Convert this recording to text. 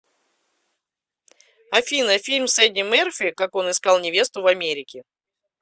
афина фильм с эди мерфи как он искал невесту в америке